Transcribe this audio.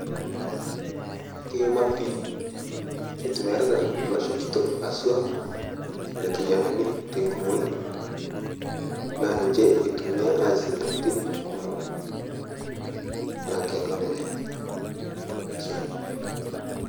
Keima pii keitumiyiarita losho kitok haswa lkijanani tekumoin naa ninche etumiyaa aase ntokitin kumo naake aiko neja ashe.